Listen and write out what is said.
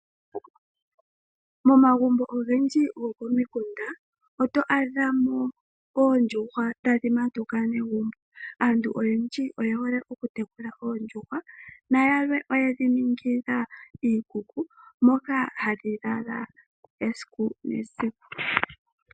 Momagumbo ogendji gokomikunda oto adhamo oondjuhwa tadhi matuka negumbo. Aantu oyendji oye hole oku tekula oondjuhwa na yalwe oye dhi ningila iikuku moka hadhi lala esiku nesiku.